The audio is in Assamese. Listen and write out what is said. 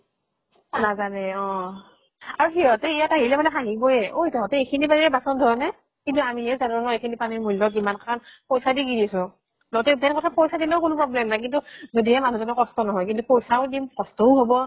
নাজানে অহ, আৰু সিহঁতে মানে ইয়াত আহিলে মানে হাঁহিবয়ে। ঐ তহঁতে এইখ্নি পানীৰে বাচন ধোৱ নে? কিন্তু আমিহে জানো ন এইখিনি পানীৰ মূল্য় কিমান। পইচা দি কিনিছো। তহঁতে কথা পইচা দিলেও কোনো problem নাই, কিন্তু যদিহে মানুহ জনৰ কষ্ট নহয়। পইচাও দিম, কষ্টও হব